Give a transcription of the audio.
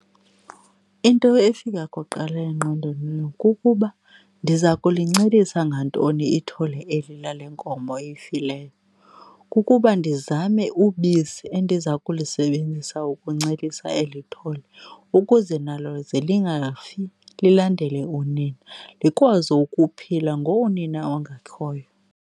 Into efika kuqala engqondweni kukuba ndiza kulincelisa ngantoni ithole eli lale nkomo ifileyo. Kukuba ndizame ubisi endiza kulisebenzisa ukuncelisa eli thole ukuze nalo ze lingafi lilandele unina, likwazi ukuphila ngonina ongekhoyo.